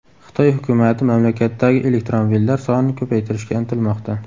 Xitoy hukumati mamlakatdagi elektromobillar sonini ko‘paytirishga intilmoqda.